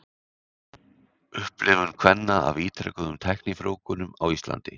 upplifun kvenna af ítrekuðum tæknifrjóvgunum á íslandi